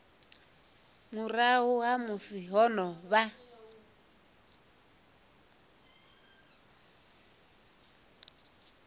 murahu ha musi ho vha